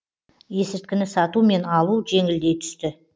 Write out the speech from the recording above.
есірткіні сату мен алу жеңілдей түсті